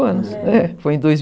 foi em